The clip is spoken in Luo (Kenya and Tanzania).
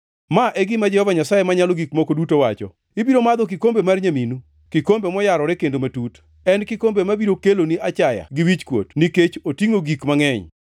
“Ma e gima Jehova Nyasaye Manyalo Gik Moko Duto wacho: “Ibiro madho kikombe mar nyaminu, kikombe moyarore kendo matut; en kikombe mabiro keloni achaya gi wichkuot nikech otingʼo gik mangʼeny.